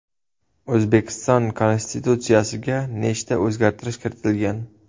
O‘zbekiston konstitutsiyasiga nechta o‘zgartirish kiritilgan?